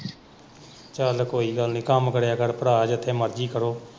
ਚਲ ਕੋਈ ਗੱਲ ਨੀ ਕੰਮ ਕਰਿਆ ਕਰ ਭਰਾ ਜਿੱਥੇ ਮਰਜ਼ੀ ਕਰੋ।